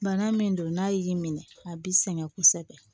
Bana min don n'a y'i minɛ a bi sɛgɛn kosɛbɛ